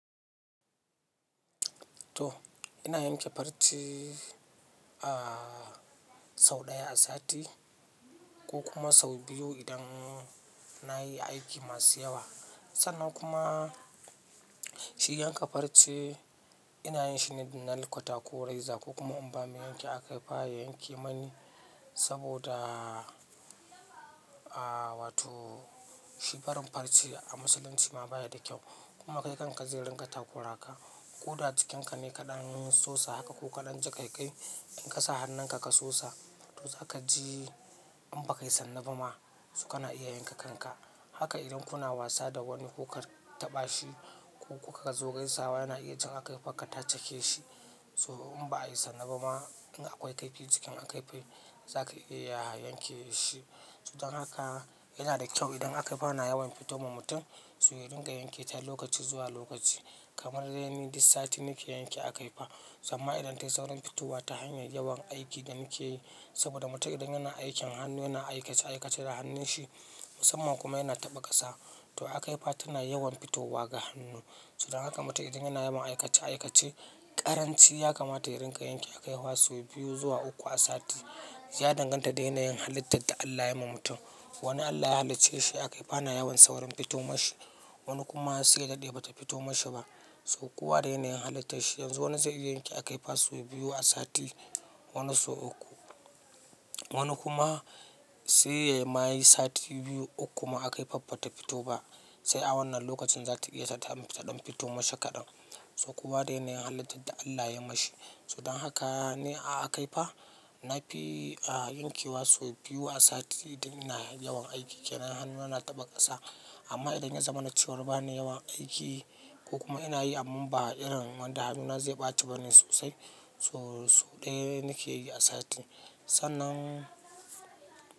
To, ina yanke farce sau ɗaya a sati ko kuma sau biyu idan nayi aiki masu yawa. Sannan kuma shi yanka farce ina yin shi ne idan na yi kwata ko raiza ko kuma in ba mayanke aka yi ba ya yanke mani saboda wato shi barin farce a musulunci ma baya da kyau. Kuma kai kanka zai ringa takura ka. Koda jikinka ne kaɗan sosa haka ko kaɗan jiƙaƙai. In ka sa hannunka ka sosa, to za ka ji in ba kai sanna ba ma su kana iya yanka kanka. Haka idan kuna wasa da wani ko ka taɓa shi ko kuka zo gaisawa yana iya cika aka yi fanka ta cake shi. To in ba a yi sanna ba ma in akwai kaifi jikin akaifi, za ka iya yanke shi. Sodan haka yana da kyau idan akaifi ana yawan fito wa mutum, su yi dinga yanke ta lokaci zuwa lokaci. Kamar dai ni dis sati nake yanke akaifi. Samma idan ta yi saurin fitowa ta hanyar yawan aikin da nike yi saboda mutum idan yana aikin hannu yana aikace-aikace da hannunshi musamman kuma yana taɓa ƙasa, to akaifi tana yawan fitowa ga hannu. Sudan haka mutum idan yana yawan aikace-aikace, ƙaranci ya kamata ya ringa yanke akaifi wasu biyu zuwa uku a sati. Ya danganta da yanayin halittar da Allah ya yi wa mutum. Wani Allah ya halicce shi akaifi ana yawan saurin fito mashi, wani kuma sai ya daɗe bata fito mashi ba. To kowa da yanayin halitta shi yanzu wani zai iya yanke akaifi sau biyu a sati, wani sau uku, wani kuma sai ya yi mayi sati biyu, uku ma akaifaffa ba ta fito ba. Sai a wannan lokacin za ta iya sadamfita ɗan fito mashi kaɗan. Saukowa da yanayin halittar da Allah ya mashi. Sudan haka ne akaifi. Na fi yanke wa sau biyu a sati idan ina yawan aiki yana hannu yana taɓa ƙasa. Amma idan ya zama na cewar ba na yawan aiki ko kuma ina yi amma ba irin wanda hannuna zai ɓace ba ne sosai, to sau ɗaya nake yi a sati. Sannan.